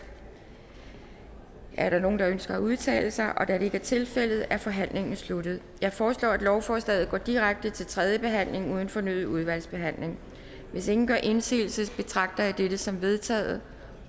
er der nogen der ønsker at udtale sig da det ikke er tilfældet er forhandlingen sluttet jeg foreslår at lovforslaget går direkte til tredje behandling uden fornyet udvalgsbehandling hvis ingen gør indsigelse betragter jeg dette som vedtaget